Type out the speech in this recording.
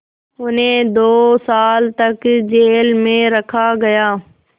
उन्हें दो साल तक जेल में रखा गया